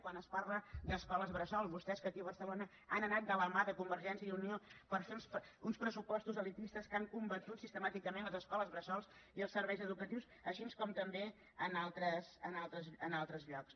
quan es parla d’escoles bressol vostès que aquí a barcelona han anat de la mà de convergència i unió per fer uns pressupostos elitistes que han combatut sistemàticament les escoles bressol i els serveis educatius com també en altres llocs